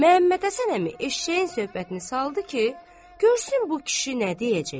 Məmmədhəsən əmi eşşəyin söhbətini saldı ki, görsün bu kişi nə deyəcək.